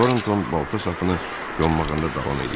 Tornton balta sapını yonmağında davam edirdi.